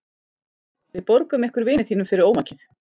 Við borgum ykkur vini þínum fyrir ómakið.